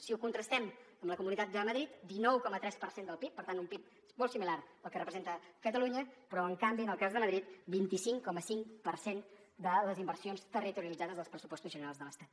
si ho contrastem amb la comunitat de madrid dinou coma tres per cent del pib per tant un pib molt similar al que representa catalunya però en canvi en el cas de madrid vint cinc coma cinc per cent de les inversions territorialitzades dels pressupostos generals de l’estat